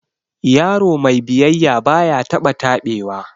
Yaro mai biyayya baya taba tabewa